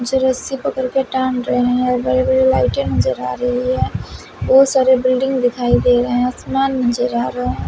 कुछ रस्सी पकड़ के टांग रहे है बड़े बड़े लाइटें नजर रही है बहुत सारे बिल्डिंग दिखाइ दे रहे आसमान नज़र आ रहा--